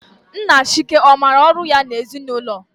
Nna Chike ọ maara ọrụ ya n'ezinụlọ?